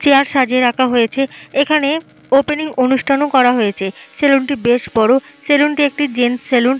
Chair সাজিয়ে রাখা হয়েছে। এখানে ওপেনিং অনুষ্ঠানও করা হয়েছে। সেলুন টি বেশ বড়ো। সেলুন টি জেন্টস সেলুন।